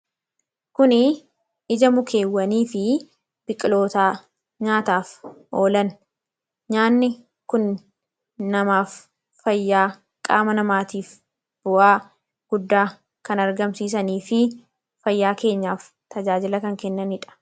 kuni ija mukeewwanii fi biqilootaa nyaataaf oolan nyaanni kun namaaf fayyaa qaama namaatiif bu'aa guddaa kan argamsiisanii fi fayyaa keenyaaf tajaajila kan kennanidha